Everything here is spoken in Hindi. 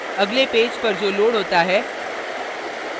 अगले पेज पर जो loads होता है